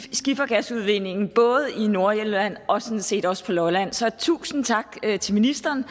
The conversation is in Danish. skifergasudvindingen både i nordjylland og sådan set også på lolland så tusind tak til ministeren